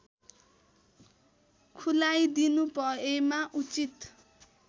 खुलाइदिनुभएमा उचित